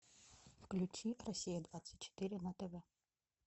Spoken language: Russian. включи россия двадцать четыре на тв